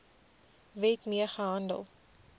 wet mee gehandel